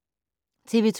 TV 2